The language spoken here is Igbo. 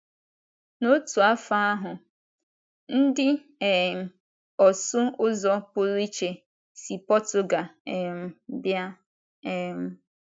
N’otu afọ ahụ, ndị um ọsụ ụzọ pụrụ iche si Portugal um bịa um.